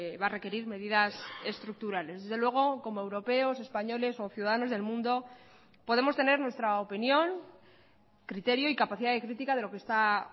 va a requerir medidas estructurales desde luego como europeos españoles o ciudadanos del mundo podemos tener nuestra opinión criterio y capacidad de crítica de lo que está